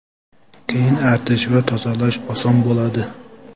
Keyin artish va tozalash oson bo‘ladi.